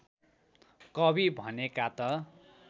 कवि भनेका त